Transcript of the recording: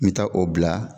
N bɛ taa o bila